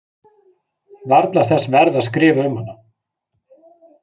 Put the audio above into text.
Varla þess verð að skrifa um hana.